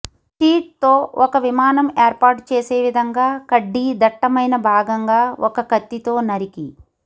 sheet తో ఒక విమానం ఏర్పాటు చేసే విధంగా కడ్డీ దట్టమైన భాగంగా ఒక కత్తితో నరికి